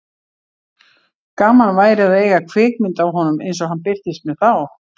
Gaman væri að eiga kvikmynd af honum eins og hann birtist mér þá.